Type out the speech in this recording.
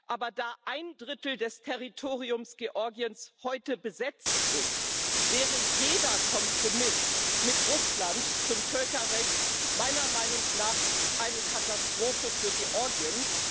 Aber da ein Drittel des Territoriums Georgiens heute besetzt ist, wäre jeder Kompromiss mit Russland zum Völkerrecht meiner Meinung nach eine Katastrophe für Georgien.